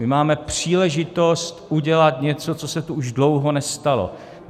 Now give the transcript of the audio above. My máme příležitost udělat něco, co se tu už dlouho nestalo.